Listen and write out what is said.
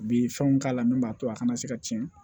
U bi fɛnw k'a la min b'a to a kana se ka tiɲɛ